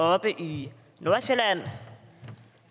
oppe i nordsjælland